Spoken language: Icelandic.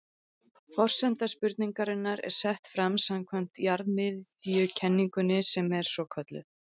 Forsenda spurningarinnar er sett fram samkvæmt jarðmiðjukenningunni sem svo er kölluð.